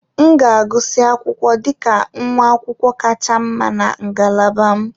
M ga-agụsị akwụkwọ dị ka nwa akwụkwọ kacha mma na ngalaba m.